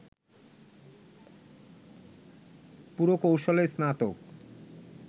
পুরকৌশলে স্নাতক